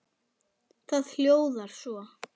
Það hljóðar svo